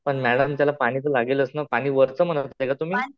पण मॅडम त्याला पाणी तर लागेलच ना? पाणी वरच म्हणत आहे का तुम्ही?